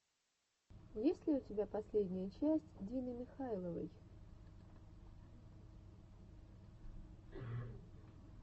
есть ли у тебя последняя часть дины михайловой